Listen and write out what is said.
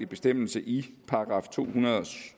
bestemmelse i § to hundrede